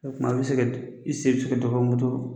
O tuma a bɛ se i sen moto